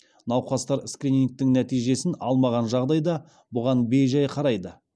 науқастар скринингтің нәтижесін алмаған жағдайда бұған бей жай қарайды